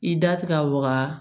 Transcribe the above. I da ti ka waga